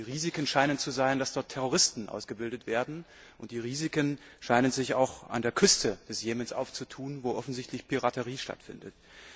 Die Risiken scheinen zu sein, dass dort Terroristen ausgebildet werden, und die Risiken scheinen sich auch an der Küste des Jemen aufzutun, wo offensichtlich Piraterie stattfindet.